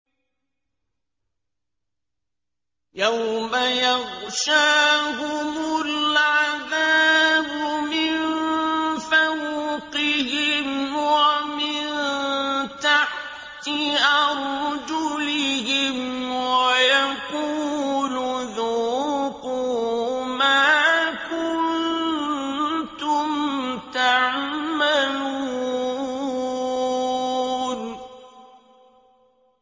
يَوْمَ يَغْشَاهُمُ الْعَذَابُ مِن فَوْقِهِمْ وَمِن تَحْتِ أَرْجُلِهِمْ وَيَقُولُ ذُوقُوا مَا كُنتُمْ تَعْمَلُونَ